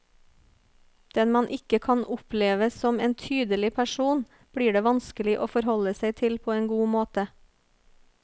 Den man ikke kan oppleve som en tydelig person, blir det vanskelig å forholde seg til på en god måte.